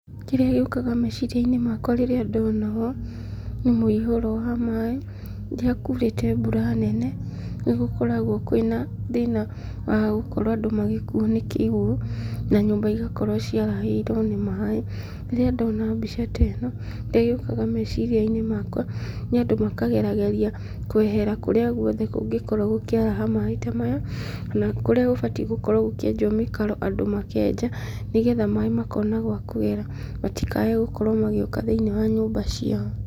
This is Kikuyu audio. Kĩrĩa gĩũkaga meciria-inĩ makwa rĩrĩa ndona ũũ, nĩ mũihũro wa maĩ, rĩrĩa kuurĩte mbura nene, nĩ gũkoragwo kwĩna thĩna wa gũkorwo andũ magĩkuo nĩ kĩguũ, na nyũmba igakorwo ciarahĩirwo nĩ maĩ. Rĩrĩa ndona mbica ta ĩno, kĩrĩa gĩũkaga meciria-inĩ makwa, nĩ andũ makagerageria kwehera kũrĩa guothe kũngĩkorwo gũkĩaraha maĩ ta maya, kana kũrĩa gũbatiĩ gũkorwo gũkĩenjwo mĩkaro andũ makenja, nĩgetha maĩ makona gwa kũgera, matikae gũkorwo magĩũka thĩinĩ wa nyũmba ciao.